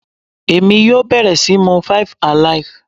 Èmi yóò bẹ̀rẹ̀ síí mu five alive.